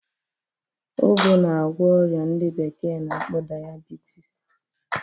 Ụgụ na-agwọ ọrịa ndị bekee na-akpọ dayabitis